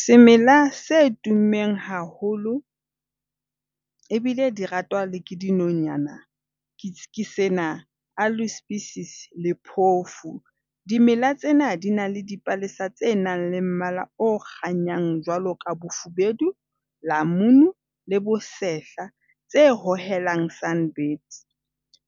Semela se tummeng haholo ebile di ratwa le ke dinonyana ke sena. A loose pieces le phofu . Dimela tsena di na le dipalesa tse nang le mmala o kganyang jwalo ka bofubedu, lamunu le bosehla. Tse hohelang sun birds.